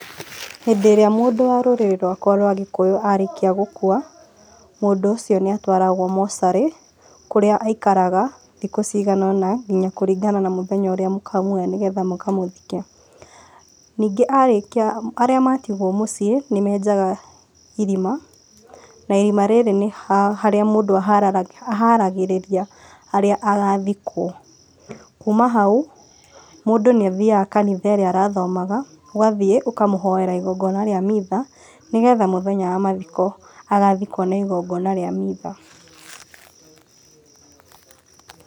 Hĩndĩ ĩrĩa mũndũ wa rũrĩrĩ rwakwa rwa gĩkũyũ arĩkia gũkua, mũndũ ũcio nĩ atwaragwo mocarĩ, kũrĩa aikaraga thikũ ciganona, nginya kũringana na mũthenya ũrĩa mũkamuoya nĩ getha mũkamũthike. Ningĩ arĩkia, arĩa matigwo mũciĩ nĩ menjaga irima, na irima rĩrĩ nĩ harĩa mũndũ aharagĩrĩria harĩa agathikwo. Kuma hau, mũndũ nĩ athiaga kanitha ĩrĩa arathomaga, ũgathiĩ ũkamũhoera igongona rĩa mitha nĩgetha mũthenya wa mathiko agathikwo na igongona rĩa mitha.